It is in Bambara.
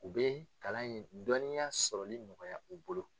U bɛ kalan in dɔnniya sɔrɔli nɔgɔya u bolo.